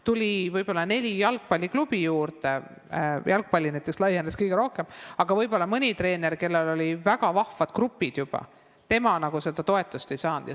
Tuli võib-olla neli jalgpalliklubi juurde – jalgpallis laienesid võimalused kõige rohkem –, aga mõni treener, kellel olid väga vahvad grupid juba olemas, toetust ei saanud.